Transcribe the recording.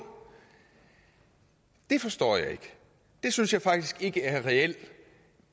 det forstår jeg ikke det synes jeg faktisk ikke er reel